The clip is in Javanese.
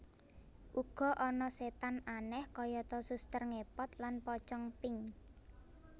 Uga ana setan aneh kayata suster ngepot lan pocong pink